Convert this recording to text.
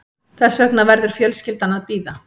Þess vegna verður fjölskyldan að bíða